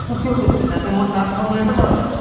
কিয় কৰিছো যাতে মোৰ দাঁতখন লেতেৰা হৈ নাযাওক